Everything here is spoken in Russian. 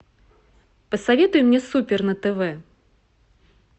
посоветуй мне супер на тв